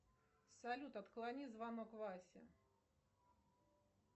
салют отклони звонок васе